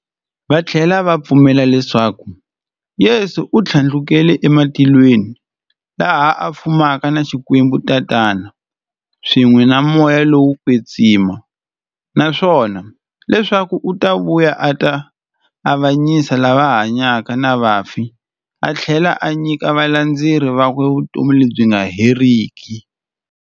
Vathlela va pfumela leswaku Yesu u thlandlukele ematilweni, laha a fumaka na Xikwembu-Tatana, swin'we na Moya lowo kwetsima, naswona leswaku u ta vuya a ta avanyisa lava hanyaka na vafi athlela a nyika valandzeri vakwe vutomi lebyi nga heriki.